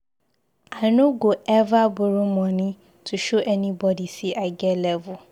I no go eva borrow moni to show anybodi sey I get level.